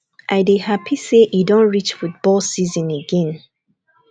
i dey happy say e don reach football season again